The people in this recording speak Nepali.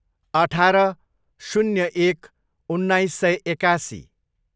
अठार, शून्य एक, उन्नाइस सय एकासी